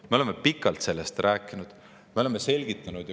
Me oleme pikalt sellest rääkinud, me oleme kõike selgitanud.